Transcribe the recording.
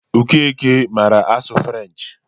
Okeke mara asụ french.